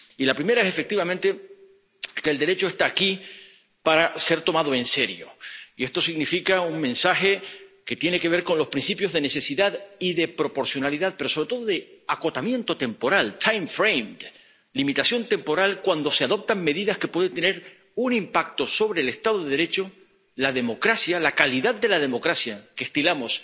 Y la primera, efectivamente, es que el Derecho está aquí para ser tomado en serio, y esto transmite un mensaje que tiene que ver con los principios de necesidad y de proporcionalidad pero, sobre todo, de acotamiento temporal time frame— limitación temporal cuando se adoptan medidas que pueden tener un impacto sobre el Estado de Derecho, la democracia, la calidad de la democracia que estilamos